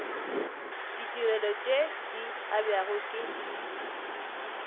ditirelo tše di abjago ke